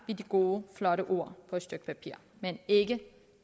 ved de gode flotte ord på et stykke papir men ikke